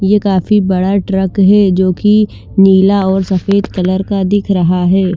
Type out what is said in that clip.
ये काफी बड़ा ट्रक है जो की नीला और सफ़ेद कलर का दिख रहा है ।